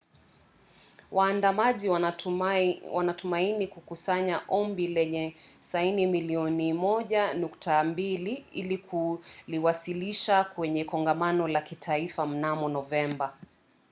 waandamanaji wanatumaini kukusanya ombi lenye saini milioni 1.2 ili kuliwasilisha kwenye kongamano la kitaifa mnamo novemba